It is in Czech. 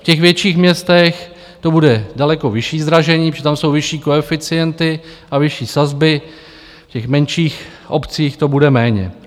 V těch větších městech to bude daleko vyšší zdražení, protože tam jsou vyšší koeficienty a vyšší sazby, v těch menších obcích to bude méně.